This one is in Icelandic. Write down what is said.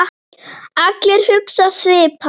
Allir hugsa svipað.